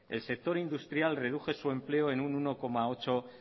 el sector industrial redujo su empleo en uno coma ocho